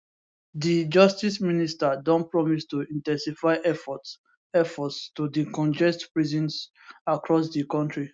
di justice minister don promise to in ten sify efforts efforts to decongest prisons across di kontri